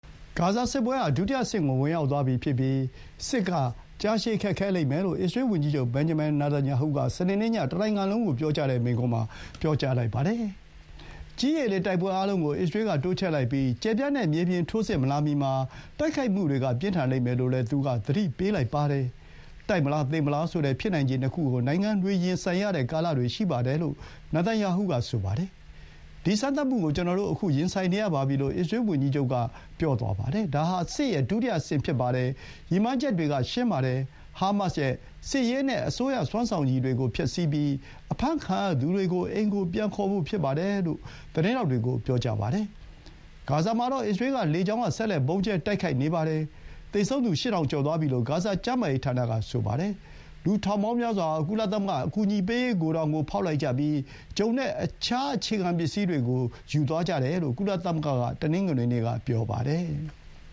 ဂါဇာစစ်ပွဲဟာ ဒုတိယအဆင့်ကို ဝင်ရောက်သွားပြီဖြစ်ပြီး စစ်က ကြာရှည်ခက်ခဲလိမ့်မယ်လို့ အစ္စရေး ဝန်ကြီးချုပ် ဘင်န်ဂျမင် နာတန်ရာဟုက စနေနေ့ညက တနိုင်ငံလုံးကို မိန့်ခွန်းပြောကြားလိုက်ပါတယ်။ ကြည်း၊ ရေ၊ လေ တိုက်ပွဲအားလုံးကို အစ္စရေးက တိုးချဲ့လိုက်ပြီး ကျယ်ပြန့်တဲ့ မြေပြင်ထိုးစစ်မလာမီမှာ တိုက်ခိုက်မှုတွေ ပြင်းထန်လိမ့်မယ်လို့လည်း သူက သတိပေးလိုက်ပါတယ်။ တိုက်မလား၊ သေမလား ဆိုတဲ့ ဖြစ်နိုင်ခြေ ၂ ခုကို နိုင်ငံတွေရင်ဆိုင်ရတဲ့ ကာလတွေ ရှိပါတယ် လို့ နာတန်ရာဟုက ဆိုပါတယ်။ “ဒီစမ်းသပ်မှုကို ကျနော်တို့ ခု ရင်ဆိုင်နေရပါပြီ။” လို့ အစ္စရေး ဝန်ကြီးချုပ်က ပြောသွားပါတယ်။ “ဒါဟာ စစ်ရဲ့ ဒုတိယအဆင့် ဖြစ်ပါတယ်။ ရည်မှန်းချက်တွေက ရှင်းပါတယ်။ ဟားမတ်စ်ရဲ့စစ်ရေးနဲ့ အစိုးရ စမ်းဆောင်ရည်တွေကို ဖျက်ဆီးပြီး အဖမ်းခံရသူတွေကို အိမ်ကို ပြန်ခေါ်ဖို့ဖြစ်ပါတယ်” လို့ သတင်းထောက်တွေကို ပြောပါတယ်။ ဂါဇာမှာတော့ အစ္စရေးက လေကြောင်းက ဆက်လက် ဗုံးကြဲတိုက်ခိုက်နေပါတယ်။ သေဆုံးသူ ၈,၀၀၀ ကျော်သွားပြီလို့ ဂါဇာ ကျန်းမာရေးဌာနက ဆိုပါတယ်။ လူ ထောင်ပေါင်းများစွာ ဟာ ကုလသမဂ္ဂ အကူအညီပေးရေး ဂိုဒေါင်ကို ဖောက်လိုက်ကြပြီး ဂျုံနဲ့ အခြားအခြေခံပစ္စည်းတွေကို ယူသွားကြတယ်လို့ ကုလသမဂ္ဂက တနင်္ဂနွေနေ့က ပြောပါတယ်။